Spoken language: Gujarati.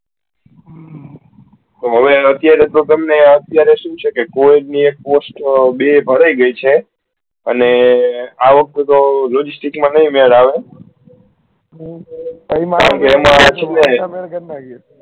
તો હવે અત્યારે તો તમને આ અત્યારે શું છે કે કોઈ ભી એક post બે ભરાઈ ગયી છે અને આ વખતે logistics તો નહી મેળ આવે